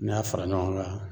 N'i y'a fara ɲɔgɔn kan